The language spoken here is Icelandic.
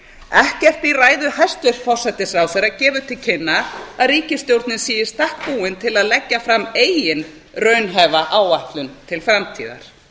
ekkert í ræðu hæstvirts forsætisráðherra gefur til kynna að ríkisstjórnin sé í stakk búin til að leggja fram eigin raunhæfa áætlun til framtíðar